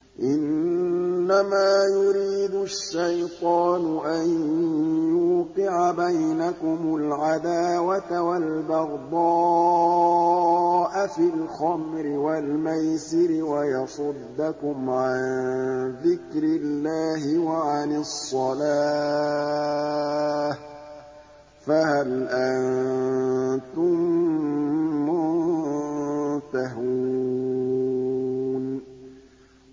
إِنَّمَا يُرِيدُ الشَّيْطَانُ أَن يُوقِعَ بَيْنَكُمُ الْعَدَاوَةَ وَالْبَغْضَاءَ فِي الْخَمْرِ وَالْمَيْسِرِ وَيَصُدَّكُمْ عَن ذِكْرِ اللَّهِ وَعَنِ الصَّلَاةِ ۖ فَهَلْ أَنتُم مُّنتَهُونَ